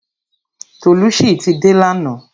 Tolucci ti dé lana